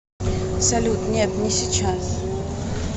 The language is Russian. салют нет не сейчас